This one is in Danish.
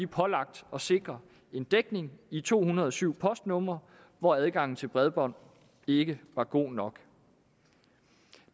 pålagt at sikre en dækning i to hundrede og syv postnumre hvor adgangen til bredbånd ikke var god nok